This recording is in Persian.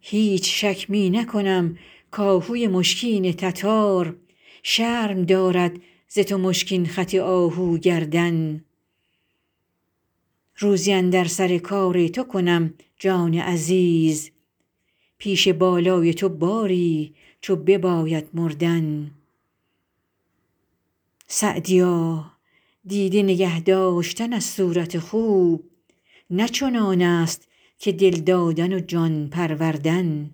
هیچ شک می نکنم کآهوی مشکین تتار شرم دارد ز تو مشکین خط آهو گردن روزی اندر سر کار تو کنم جان عزیز پیش بالای تو باری چو بباید مردن سعدیا دیده نگه داشتن از صورت خوب نه چنان است که دل دادن و جان پروردن